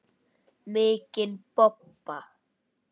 Mikinn bobba.